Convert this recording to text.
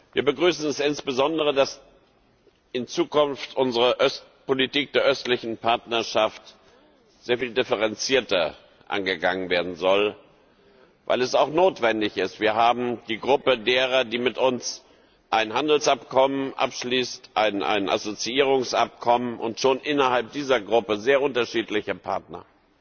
Wir begrüßen es insbesondere, dass in Zukunft unsere Politik der Östlichen Partnerschaft sehr viel differenzierter angegangen werden soll, weil es auch notwendig ist. Wir haben die Gruppe derer, die mit uns ein Handelsabkommen abschließen, ein Assoziierungsabkommen, und schon innerhalb dieser Gruppe sehr unterschiedliche Partner.